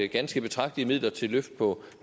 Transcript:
ganske betragtelige midler til løft på